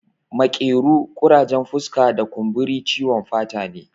Makero, ƙurajen fuska da kumburi ciwon fata ne